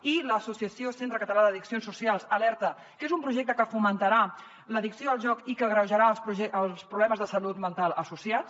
i l’associació centre català d’addiccions socials alerta que és un projecte que fomentarà l’addicció al joc i que agreujarà els problemes de salut mental associats